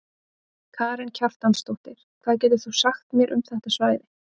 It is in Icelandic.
Karen Kjartansdóttir: Hvað getur þú sagt mér um þetta svæði?